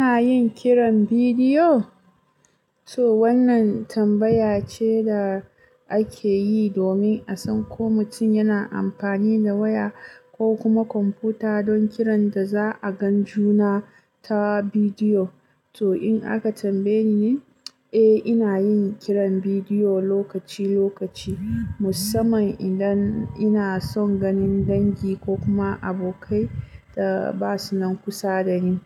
Ina yin kiran bidiyo? To wannan tambaya ce da ake yi domin a san ko mutum yana amfani da waya ko kuma kwamfuta don kiran da za a gan juna ta bidiyo. To in aka tambaye ni, eh ina yin kiran bidiyo lokaci-lokaci, musamman idan ina son ganin dangi ko kuma abokai da ba su nan kusa da ni.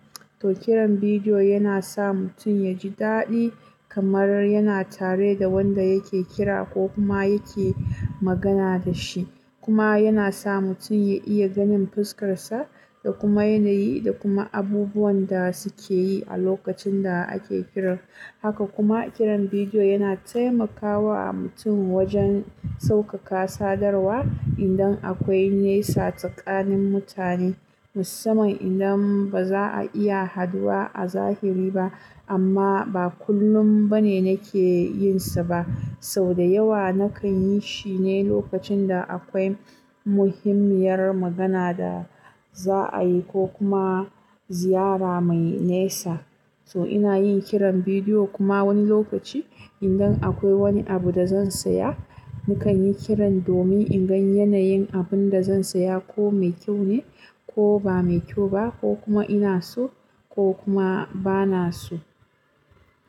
To kiran bidiyo yana sa mutum ya ji daɗi kamar yana tare da wanda yake kira ko kuma yake magana da shi. Kuma yana sa mutun ya iya ganin fuskar sa da kuma yanayi da kuma abubuwan da suke yi a lokacin da ake kiran. Haka kuma kiran bidiyo yana taimakawa mutun wajen sauƙaƙa sadarwa indan akwai nesa tsakanin mutane, musamman indan ba za a iya haduwa a zahiri ba. Amma ba kullum bane nake yin sa ba, sau da yawa nakan yi shi ne lokacin da akwai muhimmiyar magana da za a yi ko kuma ziyara mai nesa. To ina yin kiran bidiyo kuma wani lokaci indan akwai wani abu da zan saya, nakan yi kiran domin in gan yanayin abun da zan saya ko mai kyau ne ko ba mai kyau ba ko kuma ina so ko kuma ba na so.